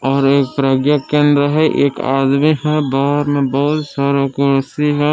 और एक प्रज्ञा केंद्र है एक आदमी है बाहर में बहुत सारा कुर्सी है।